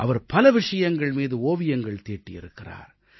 அவர் பல விஷயங்கள் மீது ஓவியங்கள் தீட்டியிருக்கிறார்